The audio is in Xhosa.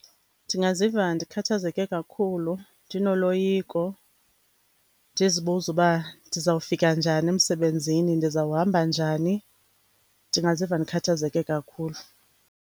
Ndingaziva ndikhathezeke kakhulu, ndinoloyiko, ndizibuza uba ndizawufika njani emsebenzini, ndizawuhamba njani. Ndingaziva ndikhathazeke kakhulu.